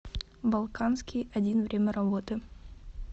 балканский один время работы